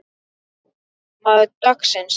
Maður dagsins?